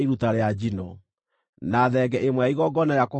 na thenge ĩmwe ya igongona rĩa kũhoroherio mehia;